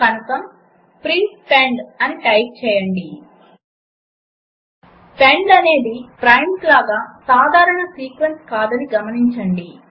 కనుక print pend అని type చేయండి పెండ్ అనేది ప్రైమ్స్ లాగా సాధారణ సీక్వెన్స్ కాదని గమనించండి